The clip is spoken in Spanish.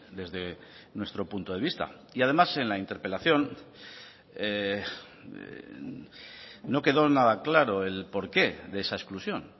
desde nuestro punto de vista y además en la interpelación no quedó nada claro el porqué de esa exclusión